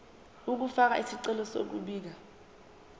ukufaka isicelo sokubika